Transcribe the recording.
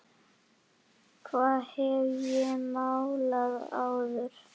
Hvað hef ég málað áður?